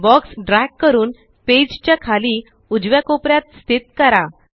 box drag करून पेजच्या खाली उजव्या कोपऱ्यात स्थित करा